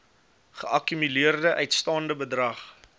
geakkumuleerde uitstaande bedrag